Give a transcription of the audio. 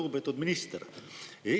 Lugupeetud minister!